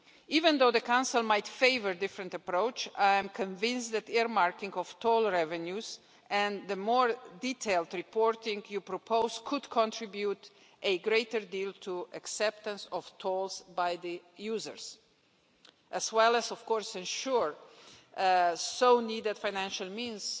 Even though the Council might favour a different approach, I am convinced that the earmarking of toll revenues and the more detailed reporting you propose could contribute a great deal to acceptance of tolls by the users as well as, of course, ensure badly needed financial means